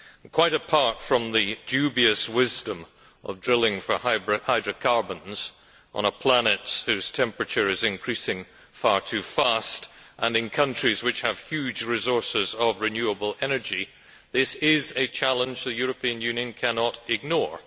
Quite apart from the dubious wisdom of drilling for hydrocarbons on a planet whose temperature is increasing far too fast and in countries which have huge resources of renewable energies, this is a challenge the European Union cannot ignore.